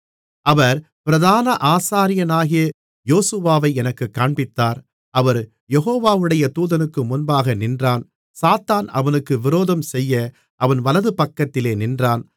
அவர் பிரதான ஆசாரியனாகிய யோசுவாவை எனக்குக் காண்பித்தார் அவன் யெகோவாவுடைய தூதனுக்கு முன்பாக நின்றான் சாத்தான் அவனுக்கு விரோதம் செய்ய அவன் வலதுபக்கத்திலே நின்றான்